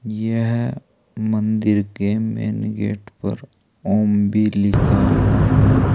यह मंदिर के मेन गेट पर ओम भी लिखा हुआ है।